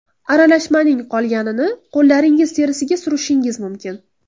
Aralashmaning qolganini qo‘llaringiz terisiga surishingiz mumkin.